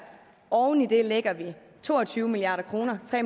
oven i det lægger vi to og tyve milliard kroner tre